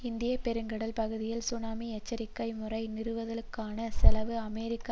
இந்திய பெருங்கடல் பகுதியில் சுனாமி எச்சரிக்கை முறை நிறுவதலுக்கான செலவு அமெரிக்க